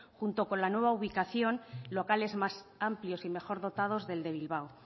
junto con la nueva ubicación locales más amplios y mejor dotados del de bilbao